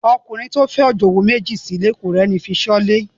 Ọkùnrin tó fẹ́ òjòwú méjì sílé ò rẹ́ni fi ṣọ́lé.